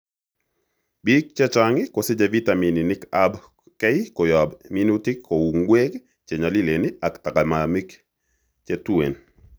Biik chechang' kosiche vitaminik ab K koyob minutik kouu ng'wek chenyolilen ak tagaimamik chetueen